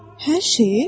Hər şeyi?